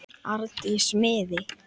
Arndísi miði.